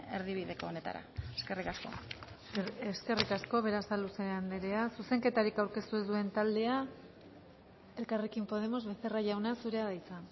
erdibideko honetara eskerrik asko eskerrik asko berasaluze andrea zuzenketarik aurkeztu ez duen taldea elkarrekin podemos becerra jauna zurea da hitza